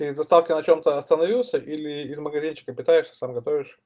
перед доставкой на чем-то остановился или из магазинчика питаешься сам готовишь